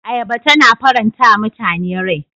Ayaba tana faranta wa mutane rai.